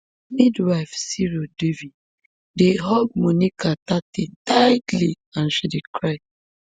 midwife siro devi dey hug monica thatte tightly and she dey cry